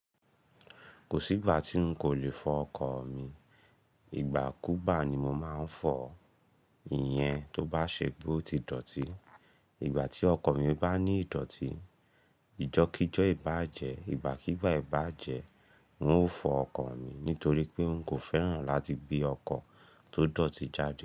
Kò sí ìgbà tí n kò lè fọ ọkọ̀ mi, ìgbà kúgbá ni mo máa ń fọ, ìyẹn tó bá ṣe pe o ti dọ̀tí. Ìgbà tí ọkọ mi bá ní ìdọ̀tí, ìjọ́kijọ́ ì báa jẹ, ìgbá kígba ì baá jẹ, n ó fọ ọkọ̀ mi nítorí pé n kò fẹ́ràn láti gbé ọkọ̀ tó dọ̀tí jáde.